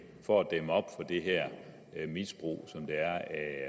for at dæmme op for det her misbrug